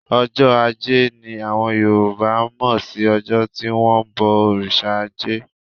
Ọjọ́ ajé ni àwọn Yorùbá mọ̀ sí ọjọ́ tí wón ń bọ òrìṣà ajé.